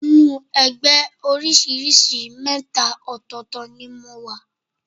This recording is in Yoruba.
Inú ẹgbẹ́ oríṣìí mẹ́ta ọ̀tọ̀ọ̀tọ̀ ni mo wà